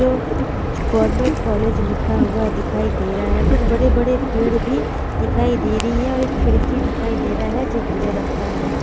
जो government college लिखा हुआ दिखाई दे रहा है कुछ बड़े-बड़े पेड़ भी दिखाई दे रही है और एक खिड़की दिखाई दे रहा है जो भूरे रंग का है।